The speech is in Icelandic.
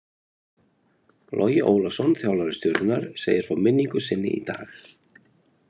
Logi Ólafsson þjálfari Stjörnunnar segir frá minningu sinni í dag.